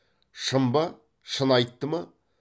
шын ба шын айтты ма